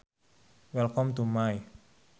Welcome to my.